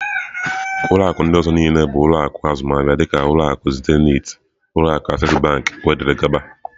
Ulọ akụ ndị ọzọ niile bụ ụlọ akụ azụmaahịa dịka ulọ akụ Zenith, ụlọ akụ Access wdg.